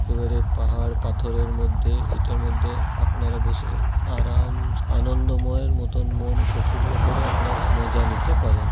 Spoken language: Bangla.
এবারের পাহাড় পাথরের মধ্যে এটার মধ্যে আপনারা বসে আরা-আম আনন্দময় এর মতন মন প্রফুল্ল করে আপনারা মজা নিতে পারেন।